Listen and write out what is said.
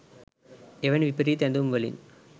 එවැනි විපරීත ඇඳුම් වලින්